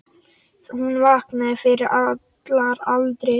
Hún vaknaði fyrir allar aldir.